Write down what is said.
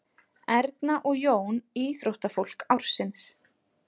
Erna og Jón íþróttafólk ársins